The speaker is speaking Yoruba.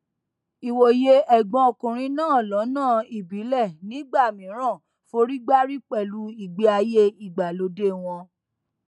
ìwòye ẹgbọn ọkùnrin náà lọnà ìbílẹ nígbà mìíràn forígbárí pẹlú ìgbé ayé ìgbàlódé wọn